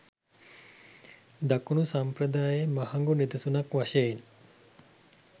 දකුණු සම්ප්‍රදායේ මහඟු නිදසුනක් වශයෙන්